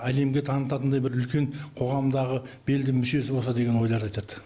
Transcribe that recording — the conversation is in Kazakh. әлемге танытатындай бір үлкен қоғамдағы белді мүшесі болса деген ойларды айтады